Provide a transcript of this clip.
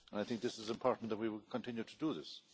I think this is important that we will continue to do this.